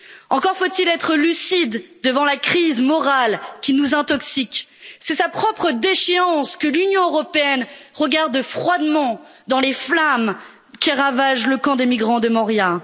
Encore faut il être lucide devant la crise morale qui nous intoxique c'est sa propre déchéance que l'Union européenne regarde froidement dans les flammes qui ravagent le camp de migrants de Moria.